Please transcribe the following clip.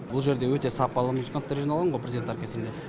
бұл жерде өте сапалы музыканттар жиналған ғой президент оркестірінде